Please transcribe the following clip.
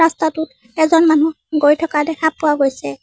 ৰাস্তাটোত এজন মানুহ গৈ থকা দেখা পোৱা গৈছে।